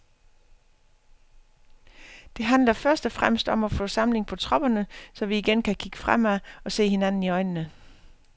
Det handler først og fremmest om at få samling på tropperne, så vi igen kan kigge fremad og se hinanden i øjnene.